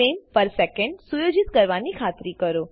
frames per secondસુયોજિત કરવાની ખાતરી કરો